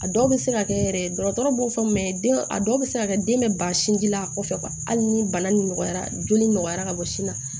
A dɔw bɛ se ka kɛ yɛrɛ dɔgɔtɔrɔ b'o fɔ den a dɔw bɛ se ka kɛ den bɛ ban sinji la kɔfɛ hali ni bana nin nɔgɔyara joli nɔgɔra ka bɔ sin na